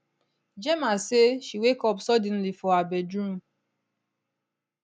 gemma say she wake up suddenly for her bedroom